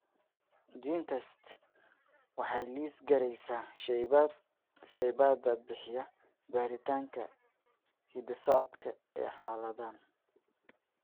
GeneTests waxay liis garaysaa shaybaadhada bixiya baaritaanka hidda-socodka ee xaaladdan.